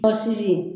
Bɔnsisi